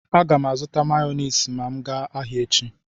A gam azu mayonezi ma m gaa ahia echi